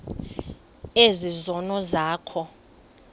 ezi zono zakho